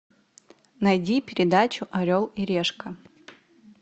найди передачу орел и решка